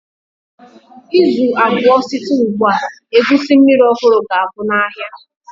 Izu abụọ site ugbu a, egusi mmiri ọhụrụ ga-agwụ n'ahịa.